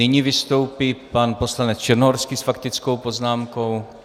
Nyní vystoupí pan poslanec Černohorský s faktickou poznámkou.